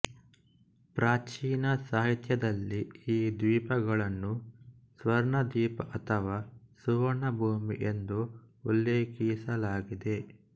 ಪ್ರಾಚೀನ ಸಾಹಿತ್ಯದಲ್ಲಿ ಈ ದ್ವೀಪಗಳನ್ನು ಸ್ವರ್ಣದ್ವೀಪ ಅಥವಾ ಸುವರ್ಣಭೂಮಿ ಎಂದು ಉಲ್ಲೇಖಿಸಲಾಗಿದೆ